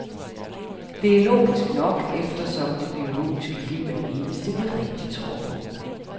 Det er logisk nok, eftersom det biologiske liv er det eneste, vi rigtigt tror på.